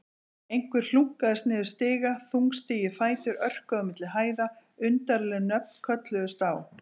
Einhver hlunkaðist niður stiga, þungstígir fætur örkuðu á milli hæða, undarleg nöfn kölluðust á.